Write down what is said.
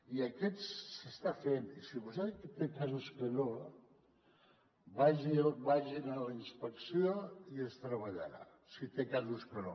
i aquest s’està fent i si vostè té casos que no vagi a la inspecció i es treballarà si té casos que no